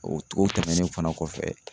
O togo tɛmɛnnen fana kɔfɛ